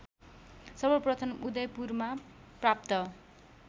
सर्वप्रथम उदयपुरमा प्राप्त